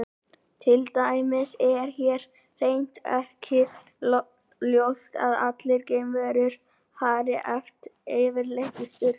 Til dæmis er hér hreint ekki ljóst að allar geimverur fari yfirleitt í sturtu.